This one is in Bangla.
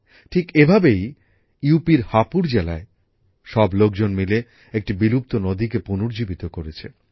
ঠিক এভাবেই উত্তর প্রদেশের হাপুর জেলায় সব লোকজন মিলে একটি বিলুপ্ত নদীকে পুনর্জীবিত করেছে